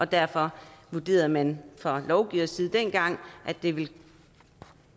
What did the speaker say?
derfor vurderede man fra lovgivers side dengang at det ville